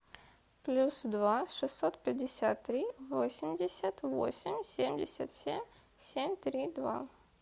плюс два шестьсот пятьдесят три восемьдесят восемь семьдесят семь семь три два